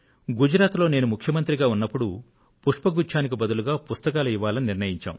గుజరాత్ లో నేను ముఖ్యమంత్రిగా ఉన్నప్పుడు పుష్పగుచ్ఛానికి బదులు పుస్తకాలు ఇవ్వాలని నిర్ణయించాను